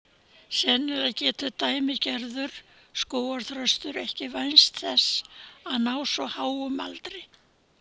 Sennilega getur dæmigerður skógarþröstur ekki vænst þess að ná svo háum aldri.